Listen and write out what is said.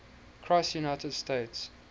cross united states